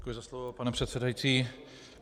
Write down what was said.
Děkuji za slovo, pane předsedající.